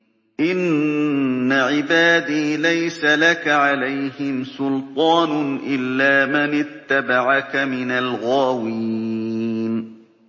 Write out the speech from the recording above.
إِنَّ عِبَادِي لَيْسَ لَكَ عَلَيْهِمْ سُلْطَانٌ إِلَّا مَنِ اتَّبَعَكَ مِنَ الْغَاوِينَ